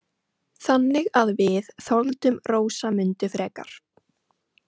Þannig að við þoldum Rósamundu frekar.